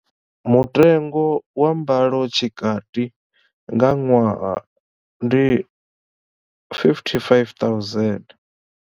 Mutengo wa mbalotshikati nga ṅwaha ndi 55 000.